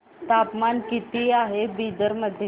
तापमान किती आहे बिदर मध्ये